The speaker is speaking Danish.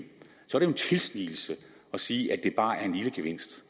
tilsnigelse at sige at det bare er en lille gevinst